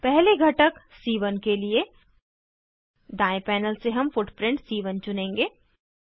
पहले घटक सी1 के लिए दायें पैनल से हम फुटप्रिंट सी1 चुनेंगे